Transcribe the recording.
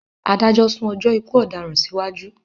Adájọ́ sún ọjọ́ ikú ọdaràn sí wájú